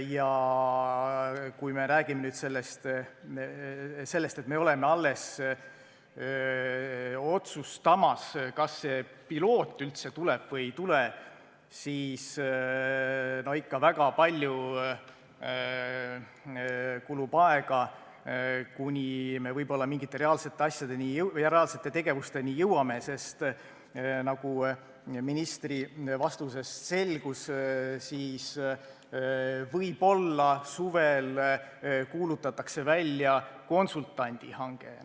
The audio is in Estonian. Kui me räägime nüüd sellest, et me alles otsustame, kas see pilootprojekt üldse tuleb või ei tule, no siis kulub ikka väga palju aega, kuni me võib-olla mingite reaalsete asjade ja tegevusteni jõuame, sest nagu ministri vastusest selgus, siis suvel võib-olla kuulutatakse välja konsultandi hange.